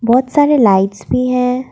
बहौत सारे लाइट्स भी है।